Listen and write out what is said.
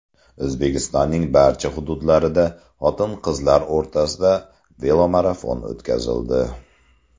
O‘zbekistonning barcha hududlarida xotin-qizlar o‘rtasida velomarafon o‘tkazildi.